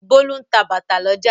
Bólú ń ta bàtà lọ́jà.